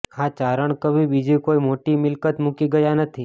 આ ચારણ કવિ બીજી કોઇ મોટી મિલ્કત મૂકી ગયા નથી